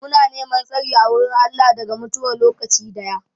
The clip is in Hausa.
Muna neman tsari a wurin Allah daga mutuwar lokaci daya.